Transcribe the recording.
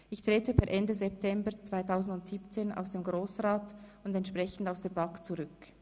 Ich trete per Ende September 2017 aus dem Grossen Rat und entsprechend aus der BaK zurück.